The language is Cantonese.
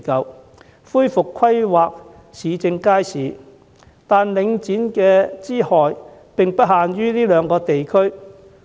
我支持政府恢復規劃市政街市，惟領展之害並不限於這兩個地區。